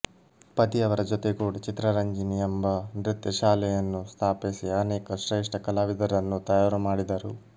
ಪತಿಯವರ ಜೊತೆಗೂಡಿ ಚಿತ್ರರಂಜನಿ ಯೆಂಬ ನೃತ್ಯ ಶಾಲೆಯನ್ನು ಸ್ಥಾಪಿಸಿ ಅನೇಕ ಶ್ರೇಷ್ಠ ಕಲಾವಿದರನ್ನು ತಯಾರುಮಾಡಿದರು